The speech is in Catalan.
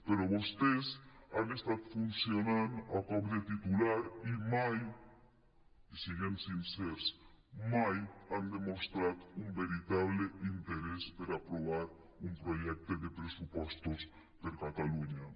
però vostès han estat funcionant a cop de titular i mai siguem sincers han demostrat un veritable interès per aprovar un projecte de pressupostos per a catalunya